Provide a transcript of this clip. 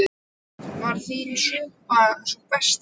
Elísabet: Var þín súpa sú besta?